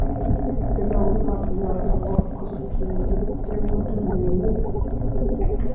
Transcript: bilow inaad ciyaarto podcast-keygii ugu dambeeyay